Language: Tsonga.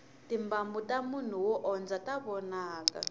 timbambu tamunhu wo o dya ta vonaka